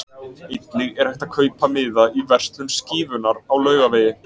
Einnig er hægt að kaupa miða í verslun Skífunnar á Laugavegi.